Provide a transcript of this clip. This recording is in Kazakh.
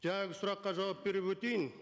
жаңағы сұраққа жауап беріп өтейін